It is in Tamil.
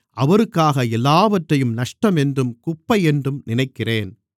அவருக்காக எல்லாவற்றையும் நஷ்டமென்றும் குப்பையென்றும் நினைக்கிறேன்